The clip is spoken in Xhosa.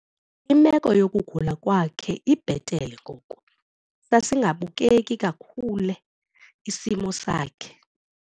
Imeko yokugula kwakhe ibhetele ngoku. Sasingabukeki kakhule isimo sakhe.